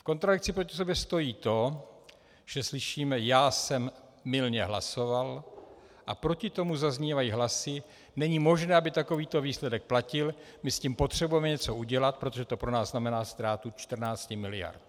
V kontradikci proti sobě stojí to, že slyšíme "já jsem mylně hlasoval", a proti tomu zaznívají hlasy "není možné, aby takovýto výsledek platil, my s tím potřebujeme něco udělat, protože to pro nás znamená ztrátu 14 miliard".